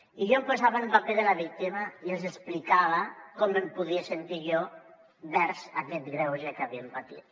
i jo em posava en el paper de la víctima i els explicava com em podia sentir jo envers aquest greuge que havien patit